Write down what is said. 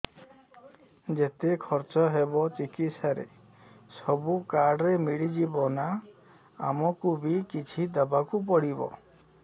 ଯେତେ ଖର୍ଚ ହେବ ଚିକିତ୍ସା ରେ ସବୁ କାର୍ଡ ରେ ମିଳିଯିବ ନା ଆମକୁ ବି କିଛି ଦବାକୁ ପଡିବ